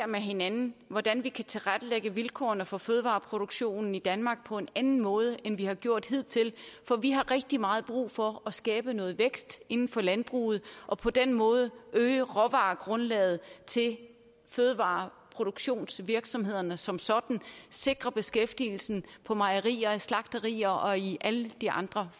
med hinanden hvordan vi kan tilrettelægge vilkårene for fødevareproduktionen i danmark på en anden måde end vi har gjort hidtil for vi har rigtig meget brug for at skabe noget vækst inden for landbruget og på den måde øge råvaregrundlaget til fødevareproduktionsvirksomhederne som sådan og sikre beskæftigelsen på mejerier slagterier og i alle de andre